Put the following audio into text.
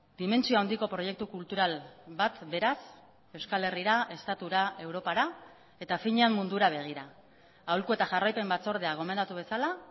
dimentsio handiko proiektu kultural bat beraz euskal herrira estatura europara eta finean mundura begira aholku eta jarraipen batzordea gomendatu bezala